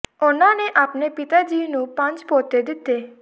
ਉਨ੍ਹਾਂ ਨੇ ਆਪਣੇ ਪਿਤਾ ਜੀ ਨੂੰ ਪੰਜ ਪੋਤੇ ਦਿੱਤੇ